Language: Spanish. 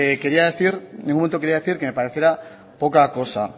quería decir en ningún momento quería decir que pareciera poca cosa